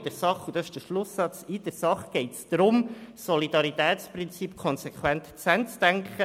In der Sache – und das ist der Schlusssatz – geht es jedoch darum, das Solidaritätsprinzip konsequent zu Ende zu denken: